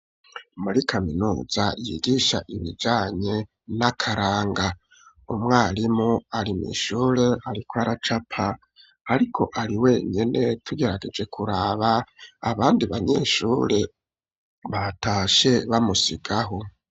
Muri kaminuza yigisha ibijanye n'akaranga umwarimu arimwshure ariko aracapa ariko ari wenyine tugerageje kuraba abandi banyeshure batashe bamusigaho.